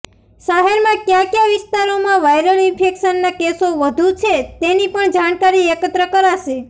શહેરમાં કયા કયા વિસ્તારોમાં વાયરલ ઇન્ફેકશનના કેસો વધુ છે તેની પણ જાણકારી એકત્ર કરાશે